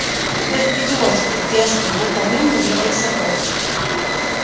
надежда идиотская дерзкая пухла в нем набиралась соков